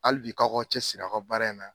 Hali bi k'a k'aw cɛsiri aw ka baara in na.